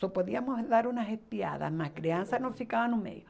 Só podíamos dar umas espiadas, mas criança não ficava no meio.